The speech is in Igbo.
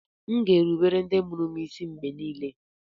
M ga-erubere ndị mụrụ m isi mgbe niile